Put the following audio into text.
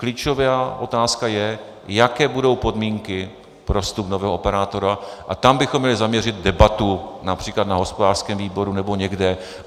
Klíčová otázka je, jaké budou podmínky pro vstup nového operátora, a tam bychom měli zaměřit debatu, například na hospodářském výboru nebo někde.